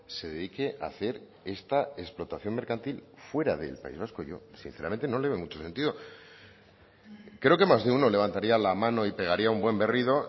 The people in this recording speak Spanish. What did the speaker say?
se dedique a hacer esta explotación mercantil fuera del país vasco yo sinceramente no le veo mucho sentido creo que más de uno levantaría la mano y pegaría un buen berrido